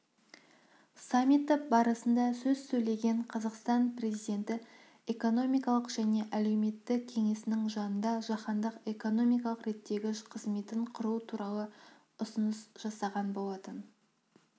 саммиті барысында сөз сөйлеген қазақстан президенті экономикалық және әлеуметтік кеңесінің жанында жаһандық экономикалық реттегіш қызметін құру туралы ұсыныс жасаған болатын